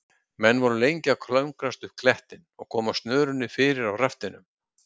Menn voru lengi að klöngrast upp klettinn og koma snörunni fyrir á raftinum.